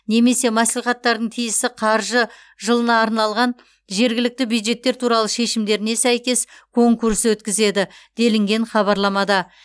немесе мәслихаттардың тиісті қаржы жылына арналған жергілікті бюджеттер туралы шешімдеріне сәйкес конкурс өткізеді делінген хабарламада